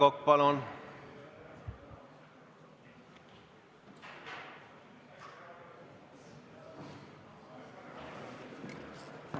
Aivar Kokk, palun!